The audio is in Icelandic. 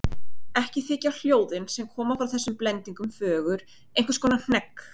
Ekki þykja hljóðin sem koma frá þessum blendingum fögur, einhvers konar hnegg.